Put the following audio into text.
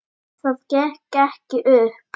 Það gekk ekki upp.